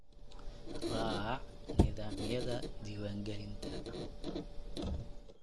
Raac nidaamyada diiwaan gelinta